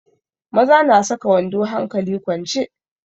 Maza na saka wando hankali kwance.